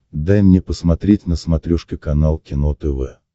дай мне посмотреть на смотрешке канал кино тв